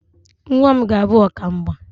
Nnwa m ga-abụ ọkamgba